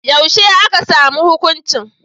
Yaushe aka samu hukuncin?